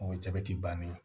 O ye jabɛti bannen ye